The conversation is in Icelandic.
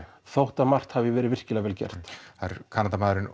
þótt að margt hafi verið virkilega vel gert það er Kanadamaðurinn